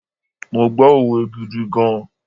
Mo gbọ́ òwe gidi gan.